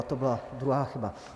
A to byla druhá chyba.